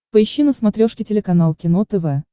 поищи на смотрешке телеканал кино тв